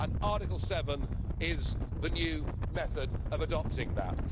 And Article 7 is the new method of adopting that.